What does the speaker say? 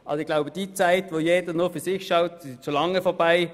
Ich glaube, die Zeit, wo jeder nur für sich schaut, ist schon lange vorbei.